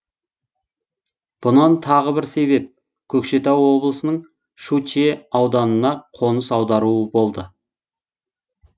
бұған тағы бір себеп көкшетау облысының шучье ауданына қоныс аударуы болды